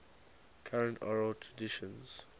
current oral traditions